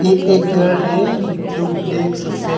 ये एक घर है जो ब्लैक सफेद--